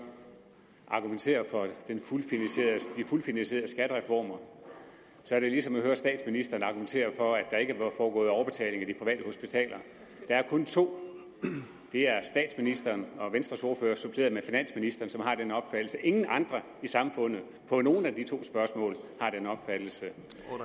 argumentere for de fuldt finansierede skattereformer er det ligesom at høre statsministeren argumentere for at der ikke foregået overbetaling af de private hospitaler der er kun to det er statsministeren og venstres ordfører suppleret med finansministeren som har den opfattelse ingen andre i samfundet har den opfattelse